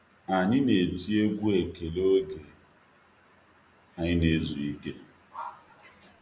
Anyị na-eti egwú ekele oge anyị n'ezu ike.